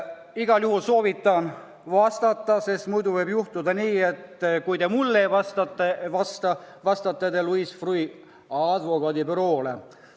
Igal juhul soovitan teil vastata, sest muidu võib juhtuda nii, et kui te ei vasta mulle, siis vastate te Louis Freeh' advokaadibüroole.